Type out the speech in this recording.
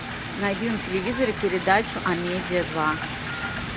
найди на телевизоре передачу амедиа два